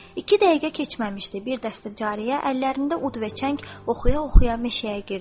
İki dəqiqə keçməmişdi, bir dəstə cariyə əllərində ud və çəng oxuya-oxuya meşəyə girdi.